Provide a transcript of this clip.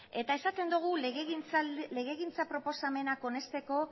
eta esaten dugu legegintza proposamenak onesteko